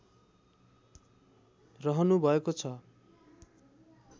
रहनु भएको छ